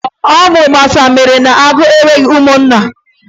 Ọ bụ mgbasa mere na agwọ enweghị ụmụnna.